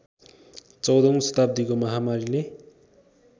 १४औं शताब्दीको महामारीले